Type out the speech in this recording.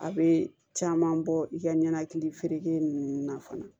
A bɛ caman bɔ i ka ɲɛnɛkili ninnu na fana